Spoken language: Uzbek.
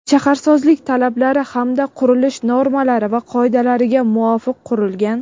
shaharsozlik talablari hamda qurilish normalari va qoidalariga muvofiq qurilgan.